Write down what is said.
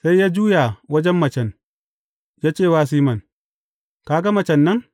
Sai ya juya wajen macen, ya ce wa Siman, Ka ga macen nan?